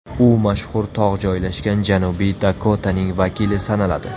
U mashhur tog‘ joylashgan Janubiy Dakotaning vakili sanaladi.